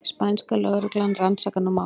Spænska lögreglan rannsakar nú málið